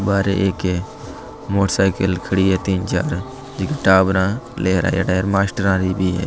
बाहरे एक मोटरसाइकल खड़ी है तीन चार जीके टावरा भी है।